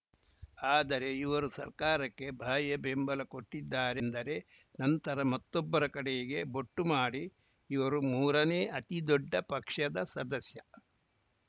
ಆದರೆ ಇವರು ಸರ್ಕಾರಕ್ಕೆ ಬಾಹ್ಯ ಬೆಂಬಲ ಕೊಟ್ಟಿದ್ದಾರೆ ಎಂದರೆ ನಂತರ ಮತ್ತೊಬ್ಬರ ಕಡೆಗೆ ಬೊಟ್ಟು ಮಾಡಿ ಇವರು ಮೂರನೇ ಅತಿದೊಡ್ಡ ಪಕ್ಷದ ಸದಸ್ಯ